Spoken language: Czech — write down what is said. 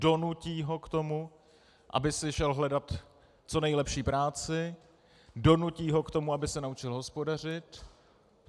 Donutí ho k tomu, aby si šel hledat co nejlepší práci, donutí ho k tomu, aby se naučil hospodařit.